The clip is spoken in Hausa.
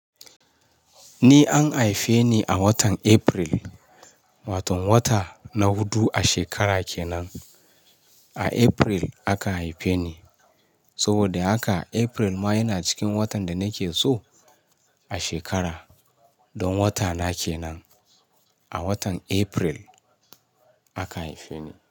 Ni an haife ni a watan April, waton wata na hudu a shekara ke nan. A April aka haifeni saboda haka, April ma yana cikin watan danake so a shekara don watana kenan. A watan April aka haife ni.